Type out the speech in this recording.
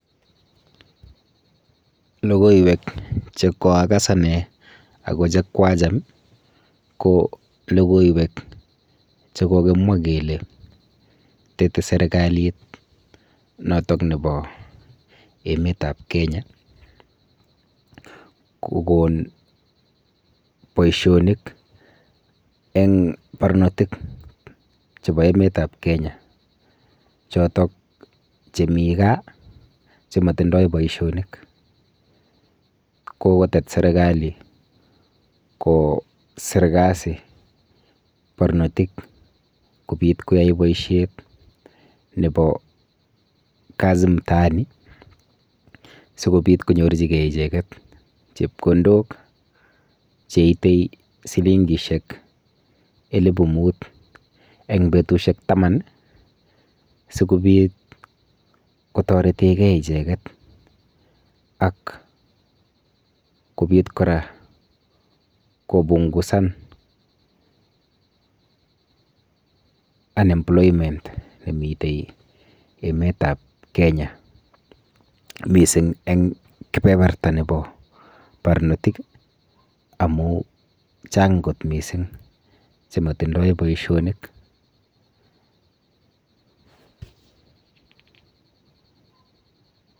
Lokoiwek chekwakas ane ako chekwacham ko lokoiwek chekokimwa kele tepei serikalit noto nebo emet ap Kenya kokon boishonik eng barnotik chebo emet ap Kenya chotok chemii gaa chematindoi boishonik akokotet serikali koser kasit barnotik kobit koyai boishet nebo kazi mtaani sikobit konyorchingei icheket chepkondok cheitei silingishek elipu muut eng betushek taman sikobit kotoretekei icheket ak kobitik kora kopungusan unemployment nemitei emet ap Kenya mising eng kebeberta nebo barnotik amu chang kot missing chematindoi boishonik.